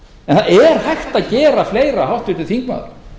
en það er hægt að gera fleira háttvirtur þingmaður